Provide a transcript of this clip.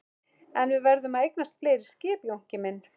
En við verðum að eignast fleiri skip Jónki minn.